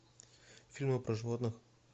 фильмы про животных